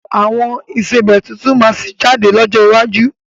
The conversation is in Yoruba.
Àwọn ìsebẹ́ tuntun máa sì jáde lọ́jọ́ iwájú